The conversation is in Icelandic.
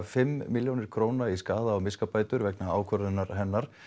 fimm milljónir króna í skaða og miskabætur vegna ákvörðunar hennar